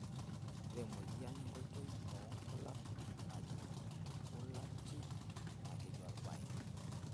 Ore emoyian enkoitoi oonkulak najing' embulati naa keji olbaye.